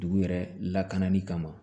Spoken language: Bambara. Dugu yɛrɛ lakanali kama